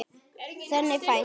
Þannig fæst